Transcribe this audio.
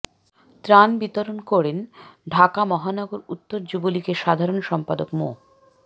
ত্রাণ বিতরণ করেন ঢাকা মহানগর উত্তর যুবলীগের সাধারণ সম্পাদক মো